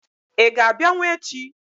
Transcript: Ị ga-abịanwu echi?